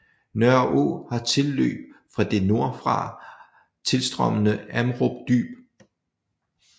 Nørreå har tilløb fra det nordfra tilstrømmende Amrum Dyb